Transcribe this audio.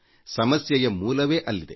ಸಮಸ್ಯೆಯ ಮೂಲವೇ ಅಲ್ಲಿದೆ